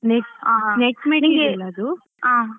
Net~net material ಅದು.